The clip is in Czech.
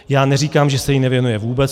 Já neříkám, že se jí nevěnuje vůbec.